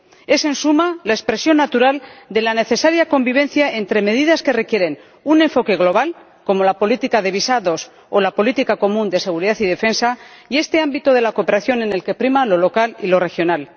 Es, en suma, la expresión natural de la necesaria convivencia entre medidas que requieren un enfoque global —como la política de visados o la política común de seguridad y defensa— y este ámbito de la cooperación en el que prima lo local y lo regional.